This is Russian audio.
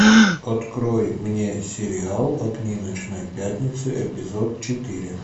открой мне сериал огни ночной пятницы эпизод четыре